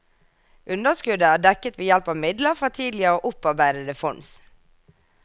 Underskuddet er dekket ved hjelp av midler fra tidligere opparbeidede fonds.